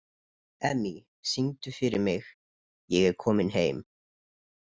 Emmý, syngdu fyrir mig „Ég er kominn heim“.